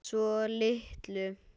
Svo litlu.